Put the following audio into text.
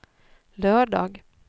lördag